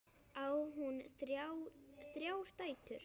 Á hún þrjár dætur.